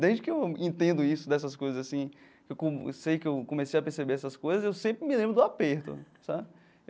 Desde que eu entendo isso dessas coisas assim, ficou eu sei que eu comecei a perceber essas coisas, eu sempre me lembro do aperto sabe.